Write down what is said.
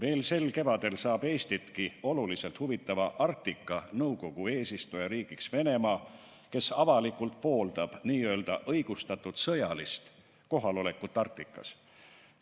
Juba sel kevadel saab Eestitki suurel määral huvitava Arktika Nõukogu eesistujariigiks Venemaa, kes avalikult pooldab n-ö õigustatud sõjalist kohalolekut Arktikas.